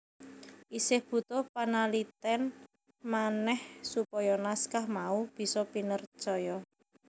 Isih butuh panalitèn manèh supaya naskah mau bisa pinercaya